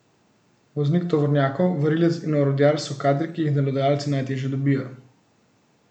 Voznik tovornjakov, varilec in orodjar so kadri, ki jih delodajalci najteže dobijo.